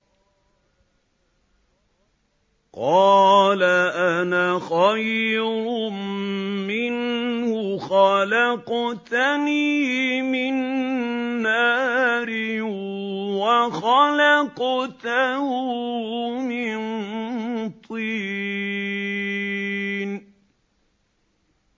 قَالَ أَنَا خَيْرٌ مِّنْهُ ۖ خَلَقْتَنِي مِن نَّارٍ وَخَلَقْتَهُ مِن طِينٍ